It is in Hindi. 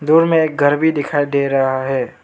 दूर में एक घर भी दिखाई दे रहा है।